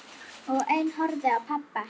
Og ein horfði á pabba.